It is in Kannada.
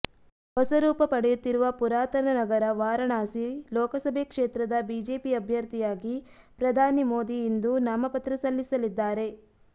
ಹೊಸರೂಪ ಪಡೆಯುತ್ತಿರುವ ಪುರಾತನ ನಗರ ವಾರಣಾಸಿ ಲೋಕಸಭೆ ಕ್ಷೇತ್ರದ ಬಿಜೆಪಿ ಅಭ್ಯರ್ಥಿಯಾಗಿ ಪ್ರಧಾನಿ ಮೋದಿ ಇಂದು ನಾಮಪತ್ರ ಸಲ್ಲಿಸಲಿದ್ದಾರೆ